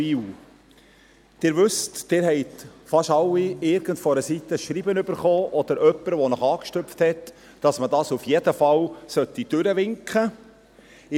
Wie Sie wissen, erhielten fast alle von Ihnen von irgendeiner Seite ein Schreiben oder wurden von jemandem angesprochen, dass man dies auf jeden Fall durchwinken soll.